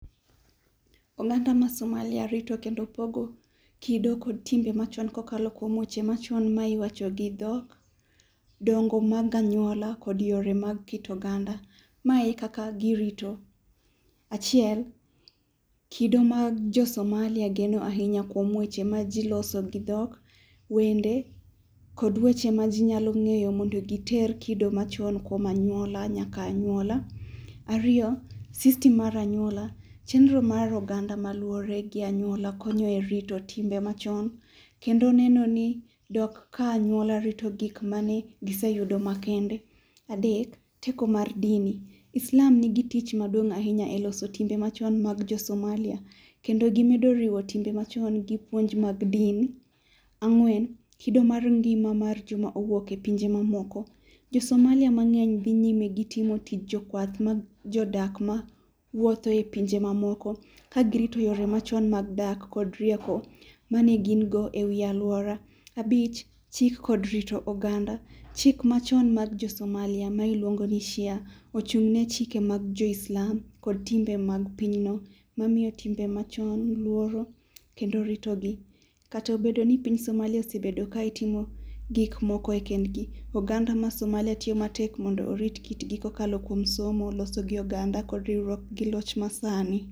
Oganda ma Somalia rito kendo pogo kido kod timbe machon kokalo kuom weche machon ma iwacho gi dhok ,dongo mag anyuola kod yore mag keto oganda. Mae akaka gi rito, achiel kido mag jo somalia geno ahinya kuom weche maji loso gi dhok, wende, kod weche ma ji nyalo ng'eyo mondo giter kido machon kuom anyuola nyaka anyuola. Ariyo, system mar anyuola chenro mar oganda maluore gi anyuola konyo erito timbe machon. Kendo ne ni dok ka anyuola rito gik mane giseyudo makende. Adeko teko mar dini, Islam nigi tich maduong' ahinya eloso timbe machon mag jo somalia kendo gi yudo riwo timbe machon gi puonj mar din. Ang'wen kido mar ngima mag joma owuok epinje ma momoko. Jo somalia mang'eny dhi nyime gi timo tich jokwath majodak ma wuotho epinje mamamoko ka gi rito yore machon mag dak kod riek mane gin go ewi aluora. Abich chik kod rito oganda, chik machon mag jo somalia ma iluongoni shia ochung'ne chike mag jo islam kod timbe mag pinyno mamiyo timbe machon luoro kendo ritogi. Kata obedoni piny somalia osebedo ka itimo gik moko kendgi oganda mar, oganda mar somalia tiyo matek mondo orit kitgi kokalo kuom somo loso gi oganda kod riwruok gi loch masani.